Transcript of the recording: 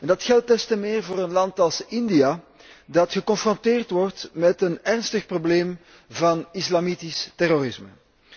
Dat geldt des te meer voor een land als India, dat geconfronteerd wordt met een ernstig probleem van islamitisch terrorisme.